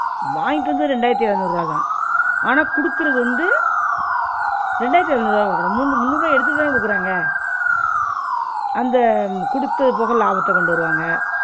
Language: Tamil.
வாங்கிட்டு வந்தது ரெண்டாயிரத்து எழநூறு ருவாதான் ஆனா குடுக்குறது வந்து ரெண்டாயிரத்து எழநூறு ருவா தான் குடுக்கனும். முந்நூறு ருவா எடுத்திட்டு தான குடுக்குறாங்க, அந்த குடுத்தத போக லாபத்தை கொண்டு வருவாங்க